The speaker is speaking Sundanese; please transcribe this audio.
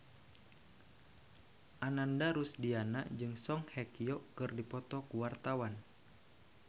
Ananda Rusdiana jeung Song Hye Kyo keur dipoto ku wartawan